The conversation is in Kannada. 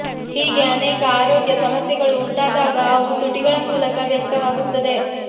ಹೀಗೆ ಅನೇಕ ಆರೋಗ್ಯ ಸಮಸ್ಯೆಗಳು ಉಂಟಾದಾಗ ಅವು ತುಟಿಗಳ ಮೂಲಕ ವ್ಯಕ್ತವಾಗುತ್ತದೆ